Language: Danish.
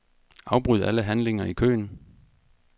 Afbryd alle handlinger i køen.